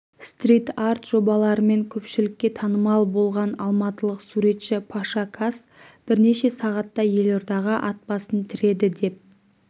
стрит-арт жобаларымен көпшілікке танымал болған алматылық суретші паша кас бірнеше сағатқа елордаға ат басын тіреді деп